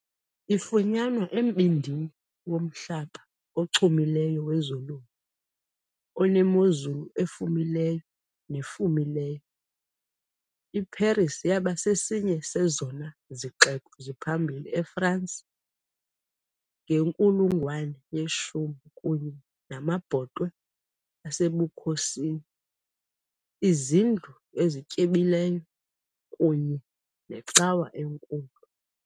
Ifunyanwa embindini womhlaba ochumileyo wezolimo onemozulu efumileyo nefumileyo, iParis yaba sesinye sezona zixeko ziphambili eFrance ngenkulungwane yeshumi, kunye namabhotwe asebukhosini, iizindlu ezityebileyo kunye necawa enkulu.